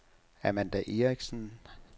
Amanda Erichsen